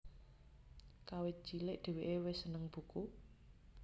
Kawit cilik dheweke wis seneng buku